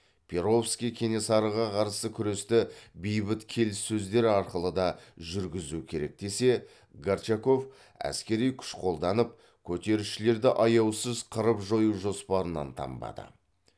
перовский кенесарыға қарсы күресті бейбіт келіссөздер арқылы да жүргізу керек десе горчаков әскери күш қолданып көтерілісшілерді аяусыз қырып жою жоспарынан танбады